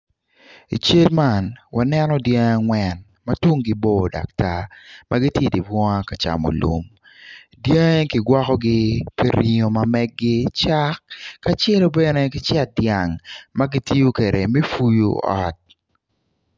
I cal man waneno dyangi angwen ma tungi bor dok gitar ma gitye i di bunga ka camo lum dyangi ki gwokogi pi ringo ma meggi cak ka celo bene ki cet dyang ma gitiyo kede me fuyu ot